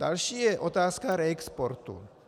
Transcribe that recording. Další je otázka reexportu.